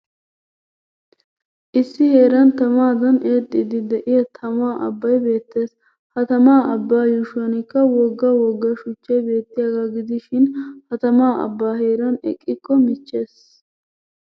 Issi heeran tamaadan eexxiiddi de'iyaa tamaa abbay beettes. Ha tamaa abbay yuushuwanikka wogga wogga shuchchay beettiyagaa gidishin ha tamaa abbaa heeran eqqikko michches.